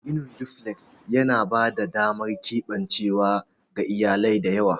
Ginin duflek yana ba da damar keɓancewa ga iyalai da yawa.